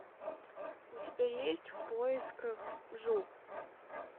у тебя есть в поисках джу